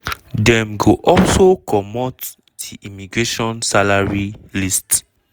dem go also commot di immigration salary list.